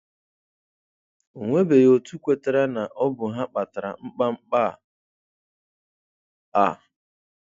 Onwebeghị otu kwetara na ọ bụ ha kpatara mkpamkpa a.